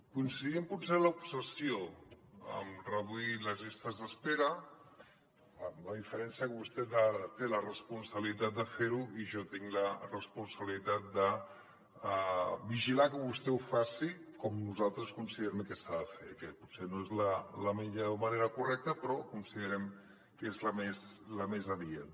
coin·cidim potser en l’obsessió en reduir les llistes d’espera amb la diferència que vostè té la responsabilitat de fer·ho i jo tinc la responsabilitat de vigilar que vostè ho faci com nosaltres considerem que s’ha de fer que potser no és la manera correcta però considerem que és la més adient